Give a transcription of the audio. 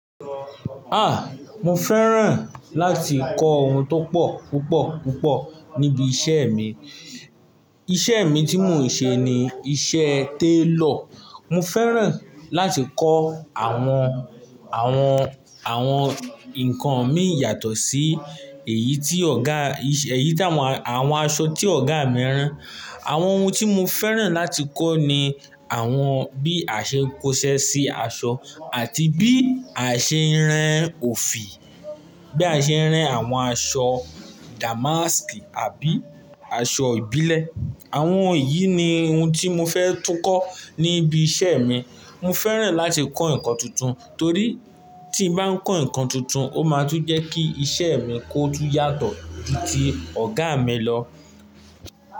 Ah! Mo fẹ́ràn láti kọ́ ohun tó pọ̀ púpọ̀ púpọ̀ níbi iṣẹ́ mi. Iṣẹ́ mi tí mò ń ṣe ni iṣẹ́ tailor. Mo fẹ́ràn láti kọ́ àwọn, àwọn, àwọn nǹkan mí yàtọ̀ sí èyí tí ọ̀gá, èyí tí àwọn aṣọ tí ọ̀gá mi rán. Àwọn ohun tí mo fẹ́ràn láti kọ́ ni àwọn bí a ṣe ń kóṣẹ́ sí aṣọ àti bí a ṣe ń rán òfì, bí a ṣe ń rán àwọn aṣọ damask àbí aṣọ ìbílẹ̀. Àwọn yìí ni ohun tí mo fẹ́ tún kọ́ níbi iṣẹ́ mi. Mo fẹ́ràn láti kọ́ nǹkan tuntun torí tí mo bá kọ́ nǹkan tuntun, ó máa tún jẹ́ kí iṣẹ́ mi kó tún yàtọ̀ ju ti ọ̀gá mi lọ.